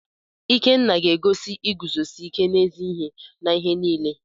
Ikenna ga-egosi iguzosi ike n’ezi ihe n’ihe niile.